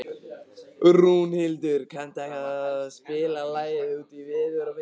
Rúnhildur, kanntu að spila lagið „Út í veður og vind“?